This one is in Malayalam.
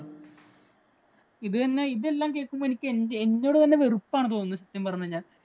ഇത് തന്നെയാ. ഇതെല്ലാം കേക്കുമ്പോ എനിക്ക് എന്നോട് തന്നെ വെറുപ്പ് ആണ് തോന്നുന്നത് സത്യം പറഞ്ഞു കഴിഞ്ഞാല്‍.